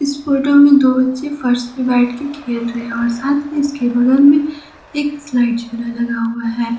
इस फोटो में दो बच्चे फर्श पे बैठ के खेल रहे हैं और साथ में इसके बगल में एक स्लाइड झूला लगा हुआ है।